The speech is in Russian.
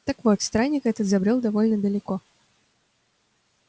так вот странник этот забрёл довольно далеко